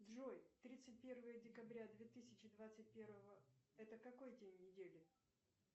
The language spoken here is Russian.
джой тридцать первое декабря две тысячи двадцать первого это какой день недели